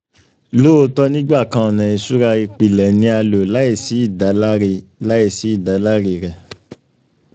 lootọ nigbakan ọna iṣura ipilẹ ni a lo laisi idalare laisi idalare rẹ